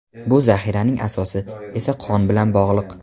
Bu "zaxira"ning asosi esa qon bilan bog‘liq.